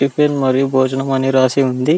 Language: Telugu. టిఫిన్ మరియు భోజనం అని రాసి ఉంది .